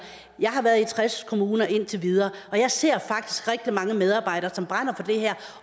jeg har været i tres kommuner indtil videre og jeg ser faktisk rigtig mange medarbejdere som brænder for det her